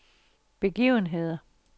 begivenheder